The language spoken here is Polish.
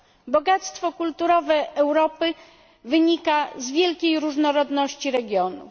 Bogactwo kulturowe Europy wynika z wielkiej różnorodności regionów.